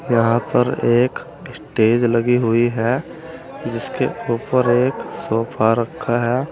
यहां पर एक स्टेज लगी हुई है जिसके ऊपर एक सोफा रखा है।